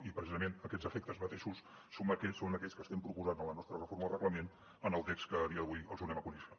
i precisament aquests efectes mateixos són aquells que estem proposant en la nostra reforma del reglament en el text que a dia d’avui els donem a conèixer